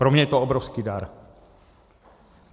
Pro mě je to obrovský dar.